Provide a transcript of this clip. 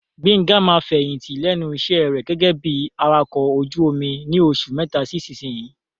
Gbenga máa fẹ̀yìntì lẹ́nu iṣẹ́ rẹ̀ gẹ́gẹ́ bí Awakọ̀ ojú omi ni oṣù mẹ́ta sí ìsinsìnyí.